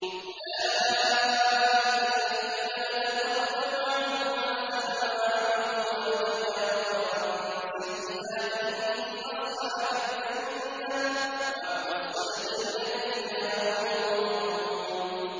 أُولَٰئِكَ الَّذِينَ نَتَقَبَّلُ عَنْهُمْ أَحْسَنَ مَا عَمِلُوا وَنَتَجَاوَزُ عَن سَيِّئَاتِهِمْ فِي أَصْحَابِ الْجَنَّةِ ۖ وَعْدَ الصِّدْقِ الَّذِي كَانُوا يُوعَدُونَ